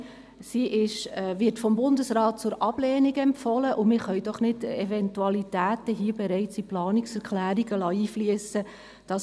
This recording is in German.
Sie wird vom Bundesrat zur Ablehnung empfohlen, und wir können doch hier nicht bereits Eventualitäten in Planungserklärungen einfliessen lassen.